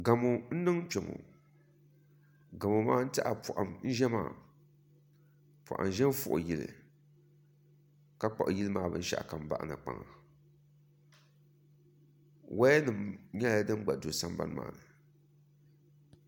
Gamo n niŋ kpɛ ŋɔ gamo maa n tiɛha poham n ʒɛ maa poham ʒɛ n fui yili ka kpuɣi yili maa binshaɣu kam bahana woya nim nyɛla din gba do sambani maa ni